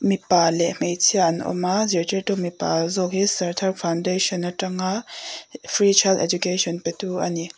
mipa leh hmeichhia an awm a zirtirtu mipa zawk hi sarthar foundation atanga free child education pe tu ani.